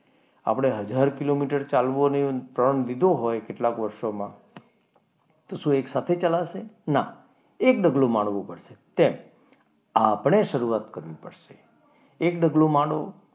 આપણે હજાર કિલોમીટર ચાલવું પ્રણ લીધો હોય કેટલા વર્ષોમાં તો શું એક સાથે ચલાશે? ના એક ડગલું માંડવું પડે તેમ આપણી શરૂઆત કરવી પડશે એક ડગલું માંડો,